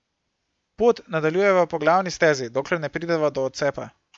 Pot nadaljujeva po glavni stezi, dokler ne prideva do odcepa.